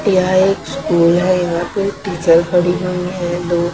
यहां एक स्कूल है यहां पे टीचर खड़ी हुई है।